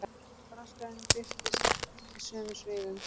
Braskarinn birtist í sömu svifum.